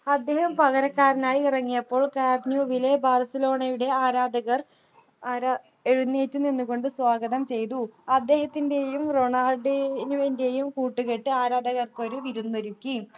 അദ്ദേഹം പകരക്കാരനായി ഇറങ്ങിയപ്പോൾ camp new വിലെ ബാർസലോണയുടെ ആരാധകർ ആരാ എഴുന്നേറ്റു നിന്നു കൊണ്ട് സ്വാഗതം ചെയ്തു അദ്ദേഹത്തിൻ്റെയും റൊണാൾഡീന്യോവിൻ്റെയും കൂട്ടുകെട്ട് ആരാധകർക്കൊരു വിരുന്നൊരുക്കി